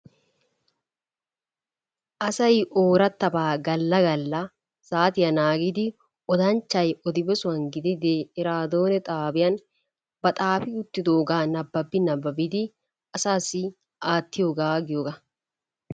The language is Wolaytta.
Asay oorattabaa galla galla saatiya naagidi odanchchay odiyoo sohuwan gidide eraadoone xaabiya ba xaafi uttidoogaa nababi nababidi asaassi aattiyoogaa giyoogaa.